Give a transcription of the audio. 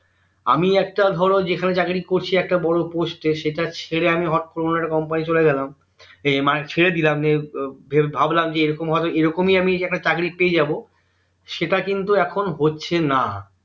আমি একটা ধরো যেখানে চাকরী করছি একটা বোরো post এ সেটা ছেড়ে হটকরে অন্য একটা company চলে গেলাম এর মানে ছেড়ে দিলাম যে ভাবলাম যে এইরকমই একটা চাকরী পেয়ে যাবো সেটা কিন্তু এখন হচ্ছে না